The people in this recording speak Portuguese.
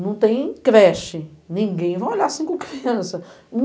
Não tem creche, ninguém vai olhar cinco crianças.